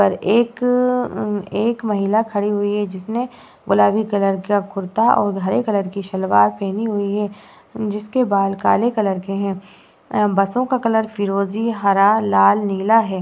और एक एक महिला खड़ी हुई है जिसने गुलाबी कलर का कुर्ता और हरे कलर की सलवार पहनी हुई है। जिसके बाल काले कलर के है। बसों का कलर फिरोजी हरा लाल नीला है।